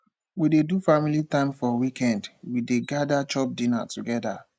we dey do family time for weekend we dey gada chop dinner togeda